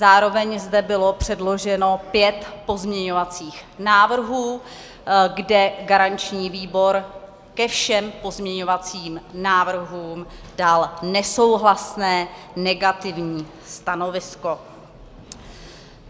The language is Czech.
Zároveň zde bylo předloženo pět pozměňovacích návrhů, kde garanční výbor ke všem pozměňovacím návrhům dal nesouhlasné, negativní stanovisko.